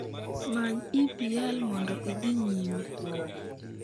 Many EPL mondo idhi nyime